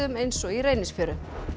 eins og í Reynisfjöru